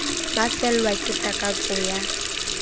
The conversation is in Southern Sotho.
ba fellwa ke takatso ya